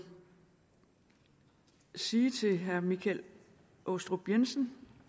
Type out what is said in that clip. sige til herre michael aastrup jensen